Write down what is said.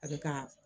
A bɛ ka